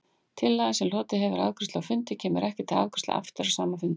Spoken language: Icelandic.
Tillaga, sem hlotið hefur afgreiðslu á fundi, kemur ekki til afgreiðslu aftur á sama fundi.